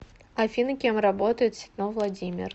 афина кем работает ситнов владимир